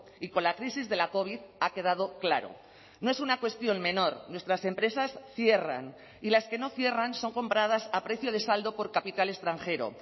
y con la crisis de la covid ha quedado claro no es una cuestión menor nuestras empresas cierran y las que no cierran son compradas a precio de saldo por capital extranjero